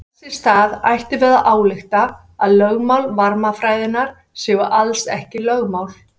Þess í stað ættum við að álykta að lögmál varmafræðinnar séu alls ekki lögmál.